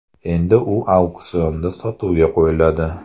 Endi u auksionda sotuvga qo‘yiladi.